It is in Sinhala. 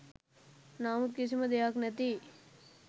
නමුත් කිසිම දෙයක් නැති